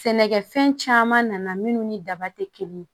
Sɛnɛkɛfɛn caman nana minnu ni daba tɛ kelen ye